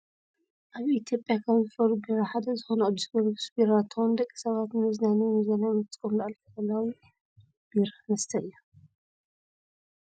ኣብ ኢትዮጵያ ካብ ዝፈርዩ ቢራ ሓደ ዝኮነ ቅዱስ ጊዮርጊስ ቢራ እንትከውን፣ ደቂ ሰባት ንመዝናነይን መዘናግዕን ዝጥቀሙሉ ኣልኮላዊ ቢራ መስተ እዩ።